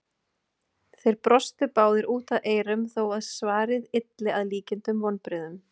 Þeir brostu báðir út að eyrum þó að svarið ylli að líkindum vonbrigðum.